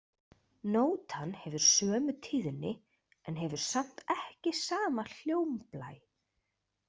Nótan hefur sömu tíðni en hefur samt ekki sama hljómblæ.